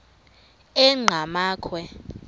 enqgamakhwe